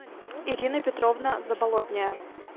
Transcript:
ирина петровна заболотняя